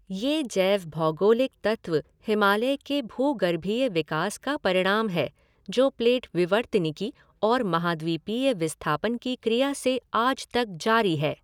ये जैव भौगोलिक तत्व हिमालय के भूगर्भीय विकास का परिणाम हैं जो प्लेट विवर्तनिकी और महाद्वीपीय विस्थापन की क्रिया से आज तक जारी है।